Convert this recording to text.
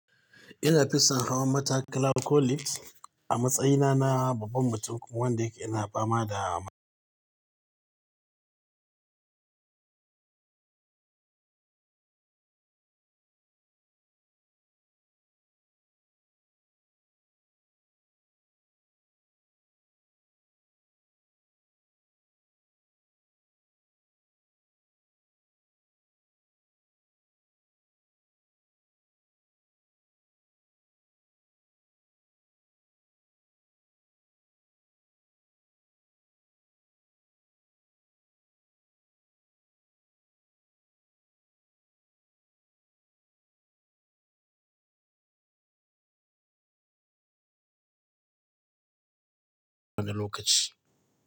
Ina fi son hawan matakala ko lift a matsayina na babban mutum wanda ina fama da ɗan lokaci.